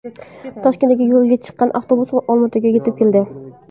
Toshkentdan yo‘lga chiqqan avtobus Olmaotaga yetib keldi.